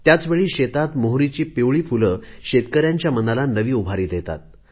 त्याचवेळी शेतात मोहोरीची पिवळी फुले शेतकऱ्यांच्या मनाला नवी उभारी देतात